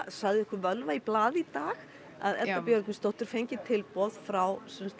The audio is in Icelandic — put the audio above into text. sagði einhver völva í blaði í dag að Edda Björgvinsdóttir fengi tilboð frá